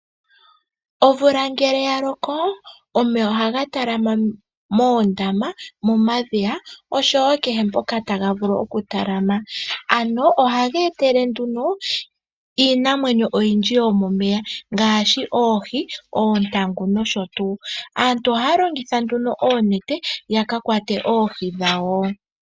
Omvula ngele yaloko omeya ohanga talama mondama momadhiya oshowo nkehe poka tangavulu okutalama, ano ohangetele nduno Iinamwenyo oyindji yomomeya ngashi oohii, ontangu nosho tu, aantu ohalongitha nduno onete yakakwate oohii dhawo.